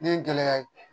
Ne ye gɛlɛya ye